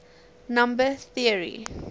number theory